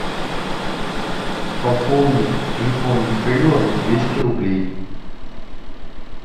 пополни телефон михаила на двести рублей